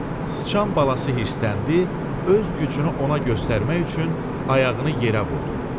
Sıçan balası hirsləndi, öz gücünü ona göstərmək üçün ayağını yerə vurdu.